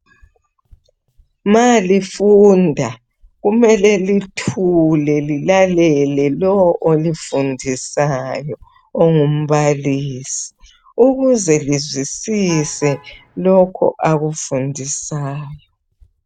Malifunda kumele lithule lilalele lowo olifundisayo ongumbalisi, ukuze lizwisise lokho akufundisayo.